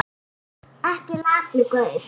Ekki latur gaur!